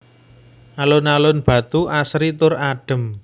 Alun alun Batu asri tur adem